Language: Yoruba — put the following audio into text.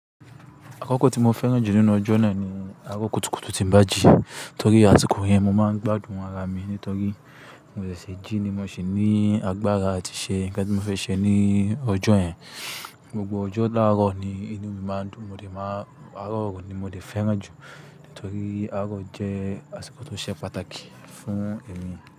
Akọ́kọ́ tí mo fẹ́ràn jù nínú ọjọ́ náà ni aró kùtùkùtù tí ń bàjí. Nítorí láti kò rí ẹ, mo máa ń gbádùn ara mi nítorí mo ṣẹ̀ṣẹ̀ jí ni mo sì ní agbára àti ṣe nǹkan tí mo fẹ́ ṣe ní ọjọ́ yẹn. Gbogbo ọjọ́ láàárọ̀ ni inú mi máa ń dùn, mo dè máa aró ni mo dè fẹ́ràn jù nítorí aró jẹ́ àsìkò tó ṣe pàtàkì fún èmi.